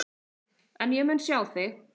En ég mun sjá þig.